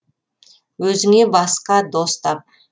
өзіңе басқа дос тап